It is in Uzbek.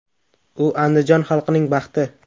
U Andijon xalqining baxti.